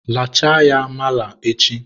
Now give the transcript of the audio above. lachaa ya mala echi!